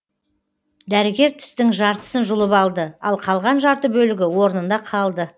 дәрігер тістің жартысын жұлып алды ал қалған жарты бөлігі орнында қалды